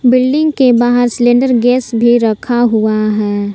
Building के बाहर cylinder gas भी रखा हुआ है ।